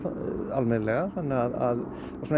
almennilega þannig að